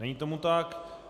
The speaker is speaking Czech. Není tomu tak.